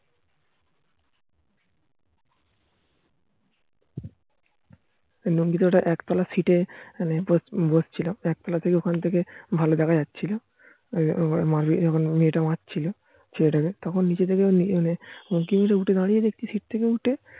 লুঙ্গি তে ওটা এক তোলার সিটে বসে ছিল. একতলা থেকে ভালো জাগা যাচ্ছিলো যখন মেয়ে তা মারছিলো ছেলে তা কে তখন নিচে থেকে দাঁড়িয়ে দেখছি সিট্ থেকে